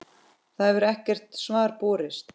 Það hefur ekkert svar borist.